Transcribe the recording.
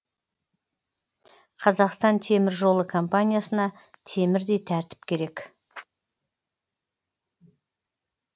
қазақстан теміржолы компаниясына темірдей тәртіп керек